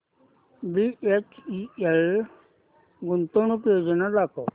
BHEL गुंतवणूक योजना दाखव